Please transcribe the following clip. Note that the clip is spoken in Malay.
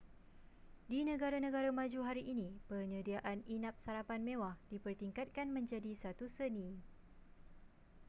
di negara-negara maju hari ini penyediaan inap-sarapan mewah dipertingkatkan menjadi satu seni